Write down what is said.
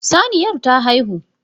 Saniyar ta haihu.